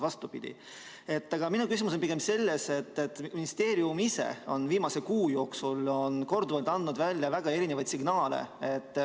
Aga minu jaoks on küsimus pigem selles, et ministeerium on viimase kuu jooksul korduvalt andnud välja väga erinevaid signaale.